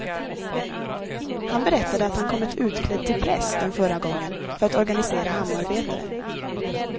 Han berättade att han kommit utklädd till präst den förra gången för att organisera hamnarbetare.